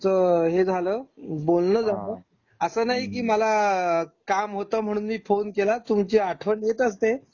तुमचं हे झालं बोलणं झालं. असं नाही कि मला काम होतं म्हणून मी फोन केला. तुमची आठवण येत असते.